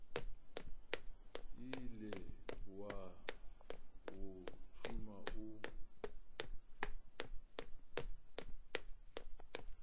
ile wa o tšhuma o